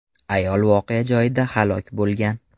Ayol voqea joyida halok bo‘lgan.